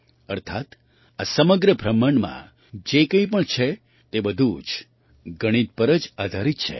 અર્થાત્ આ સમગ્ર બ્રહ્માંડમાં જે કંઈ પણ છે તે બધું જ ગણિત પર જ આધારિત છે